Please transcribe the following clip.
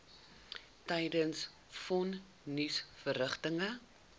tydens von nisverrigtinge